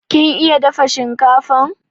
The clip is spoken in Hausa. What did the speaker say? kin iya dafa shinkafan?